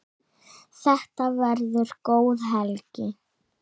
Þetta verður góð helgi.